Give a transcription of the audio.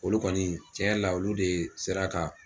Olu kɔni cɛn yɛrɛ la olu de sera ka